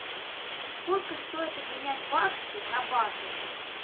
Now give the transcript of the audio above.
сколько стоит обменять баксы на баты